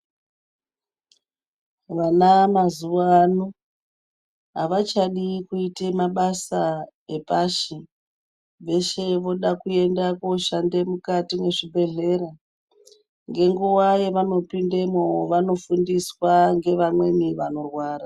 Vana mazuvano havachadi kuite mabasa epashi. Veshe voda kuenda koshande mukati mwezvibhedhlera. Ngenguva yevanopindemwo vanofundiswa ngevamweni vanorwara.